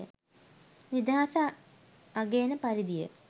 නිදහස අගයන පරිදිය